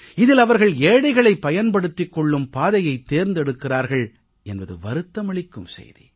இதில் அவர்கள் ஏழைகளைப் பயன்படுத்திக் கொள்ளும் பாதையைத் தேர்ந்தெடுத்திருக்கிறார்கள் என்பது வருத்தமளிக்கும் செய்தி